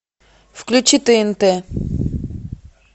включи тнт